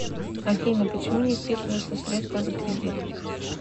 афина почему не списываются средства за кредит